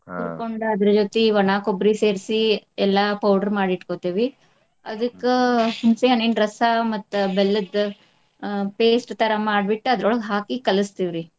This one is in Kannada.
ಅದ್ರ ಜೊತಿ ಒಣಾ ಕೊಬ್ರಿ ಸೇರ್ಸಿ ಎಲ್ಲಾ powder ಮಾಡಿ ಇಟ್ಕೊತೇವಿ. ಅದಕ್ಕ ಹುಣಸೆ ಹಣ್ಣಿನ ರಸ ಮತ್ತ ಬೆಲ್ಲದ್ದ್ ಆ paste ತರಾ ಮಾಡ್ಬಿಟ್ಟ್ ಅದ್ರೋಳಗ ಹಾಕಿ ಕಲಸ್ತಿವ್ರಿ .